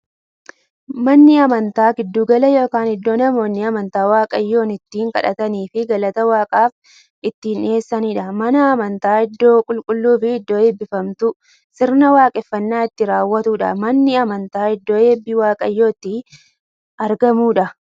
Manni amantaa giddu gala yookiin iddoo namoonni amantaa waaqayyoon itti kadhataniifii galata waaqaaf itti dhiyeessaniidha. Manni amantaa iddoo qulqulluufi iddoo eebbifamtuu, sirna waaqeffannaa itti raawwatuudha. Manni amantaa iddoo eebbi waaqayyoo itti argamuudha.